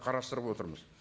қарастырып отырмыз